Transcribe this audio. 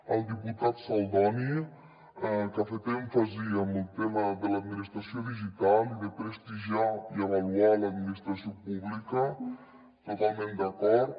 el diputat saldoni que ha fet èmfasi en el tema de l’administració digital i de prestigiar i avaluar l’administració pública totalment d’acord